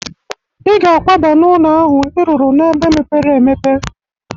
I ga akwaba n'ụnọ ahụ ị rụrụ n'ebe mepere emepe!